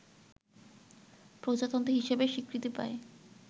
প্রজাতন্ত্র হিসেবে স্বীকৃতি পায়